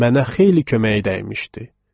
Mənə xeyli köməyi dəymişdi.